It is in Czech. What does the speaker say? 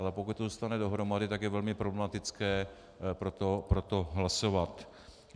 Ale pokud to zůstane dohromady, tak je velmi problematické pro to hlasovat.